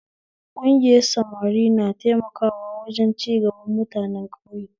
Ƙungiyar samari na taimakawa wajen cigaban mutanen ƙauye